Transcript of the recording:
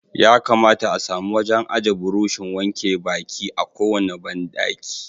Ya kamata a samu wajen aje burushin wanke baki a kowane bandaki.